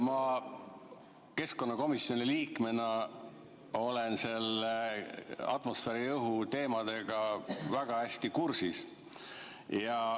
Ma keskkonnakomisjoni liikmena olen atmosfääriõhu teemadega väga hästi kursis.